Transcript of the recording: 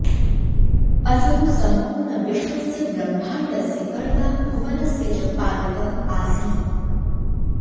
असौ सम्पूर्णविश्वस्य ब्रह्माण्डस्य कर्ता भुवनस्य च पालकः आसीत्